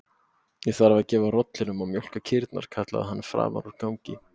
Ég þarf að gefa rollunum og mjólka kýrnar, kallaði hann framan úr gangi.